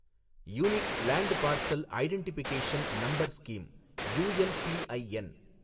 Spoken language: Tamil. unique land parcel identification number scheme, ULPIN